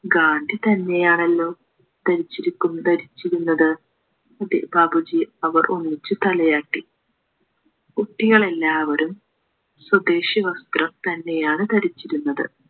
ഗാന്ധി തന്നെയാണല്ലോ ധരിച്ചിരിക്കുന്നത് ധരിച്ചിരുന്നത് അതെ ബാപ്പുജി അവർ ഒന്നിച്ചു തലയാട്ടി കുട്ടികളെല്ലാവരും സ്വദേശാവസ്ത്രം തന്നെയാണ് ധരിച്ചിരുന്നത്